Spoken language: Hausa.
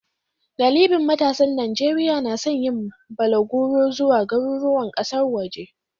Galibin matasan Najeriya na son yin balaguro zuwa garuruwan kasar waje.